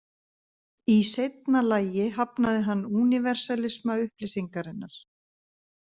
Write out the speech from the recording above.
Í seinna lagi hafnaði hann „úniversalisma“ upplýsingarinnar.